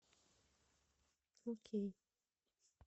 окей